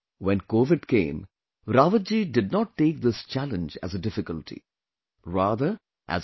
When Covid came, Rawat ji did not take this challenge as a difficulty; rather as an opportunity